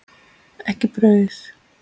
Ekki brauð.